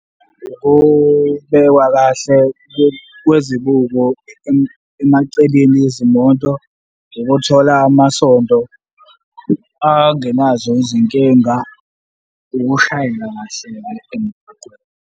Ngokubekwa kahle kwezibuko emaceleni ezimoto, ukuthola amasondo angenazo izinkinga, ukushayela kahle ngale emgwaqeni.